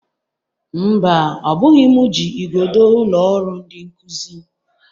Mba, ọ bụghị m ji igodo ụlọ ọrụ ndị nkụzi